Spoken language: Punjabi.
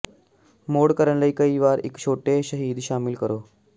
ਮੌੜ ਕਰਨ ਲਈ ਕਈ ਵਾਰ ਇੱਕ ਛੋਟੇ ਸ਼ਹਿਦ ਸ਼ਾਮਿਲ ਕਰੋ